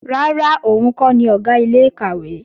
Rárá, òun kọ́ ni Ọ̀gá ilé-ìkàwé